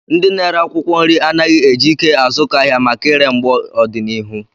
Ndị na-ere akwụkwọ nri anaghị eji ike azụkọ ahịa maka ire mgbe ọdịnihu